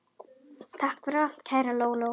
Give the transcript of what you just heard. Takk fyrir allt, kæra Lóló.